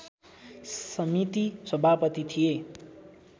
समिति सभापति थिए